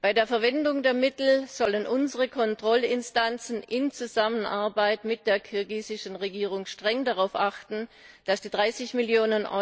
Bei der Verwendung der Mittel sollen unsere Kontrollinstanzen in Zusammenarbeit mit der kirgisischen Regierung streng darauf achten, dass die 30 Mio.